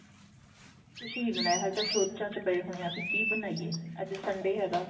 ਕੁੱਝ ਨਹੀਂ ਬਣਾਇਆ ਅਜੇ ਤਾਂ ਸੋਚਾਂ ਚ ਪਾਏ ਹੋਏ ਹਾਂ ਕੀ ਕੀ ਬਣਾਈਏ ਅੱਜ Sunday ਹੈਗਾ